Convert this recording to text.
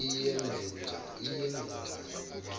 iyenzenjani